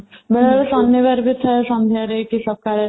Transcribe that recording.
ବେଳେ ବେଳେ ଶନିବାରବି ଥାଏ ସନ୍ଧ୍ୟାରେ କି ସକାଳେ